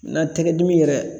Na tɛgɛ dimi yɛrɛ